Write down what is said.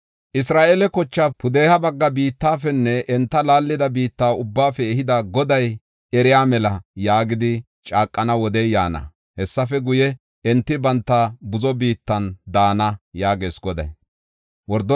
‘Isra7eela kochaa pudeha bagga biittafenne enta laallida biitta ubbaafe ehida Goday eriya mela’ yaagidi caaqana wodey yaana. Hessafe guye, enti banta buzo biittan daana” yaagees Goday.